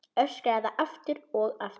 Öskraði það aftur og aftur.